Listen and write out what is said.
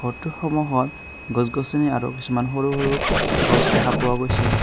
ঘৰটোৰ সন্মুখত গছ গছনি আৰু কিছুমান সৰু সৰু গছ দেখা পোৱা গৈছে।